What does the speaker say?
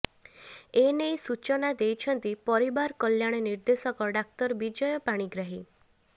ଏନେଇ ସୂଚନା ଦେଇଛନ୍ତି ପରିବାର କଲ୍ୟାଣ ନିର୍ଦ୍ଦେଶକ ଡାକ୍ତର ବିଜୟ ପାଣିଗ୍ରାହୀ